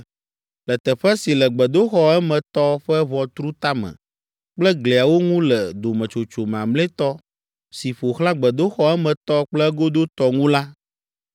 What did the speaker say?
Le teƒe si le gbedoxɔ emetɔ ƒe ʋɔtru tame kple gliawo ŋu le dometsotso mamlɛtɔ si ƒo xlã gbedoxɔ emetɔ kple egodotɔ ŋu la,